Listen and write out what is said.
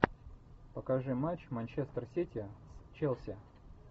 покажи матч манчестер сити с челси